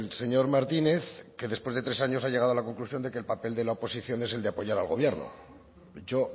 señor martínez que después de tres años ha llegado a la conclusión de que el papel de la oposición es el de apoyar al gobierno yo